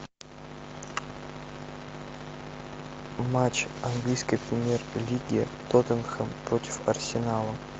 матч английской премьер лиги тоттенхэм против арсенала